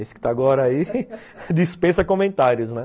Esse que está agora aí dispensa comentários, né?